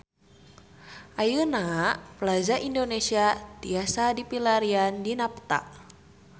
Ayeuna Plaza Indonesia tiasa dipilarian dina peta